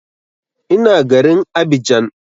Ina garin Abidjan